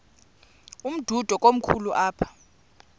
umdudo komkhulu apha